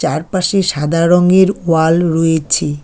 চারপাশে সাদা রঙ্গের ওয়াল রয়েছে।